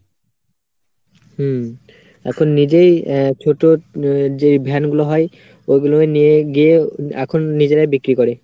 হম এখন নিজেই আহ ছোট যেই ভ্যানগুলো হয় ওগুলোকে নিয়ে গিয়ে এখন নিজেরাই বিক্রি করে।